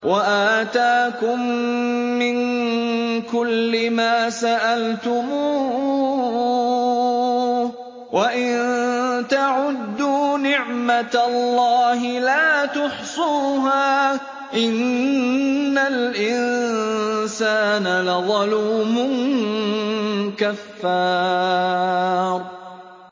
وَآتَاكُم مِّن كُلِّ مَا سَأَلْتُمُوهُ ۚ وَإِن تَعُدُّوا نِعْمَتَ اللَّهِ لَا تُحْصُوهَا ۗ إِنَّ الْإِنسَانَ لَظَلُومٌ كَفَّارٌ